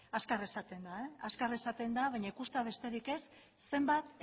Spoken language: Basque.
azkar esaten da azkar esaten da baina ikustea besterik ez zenbat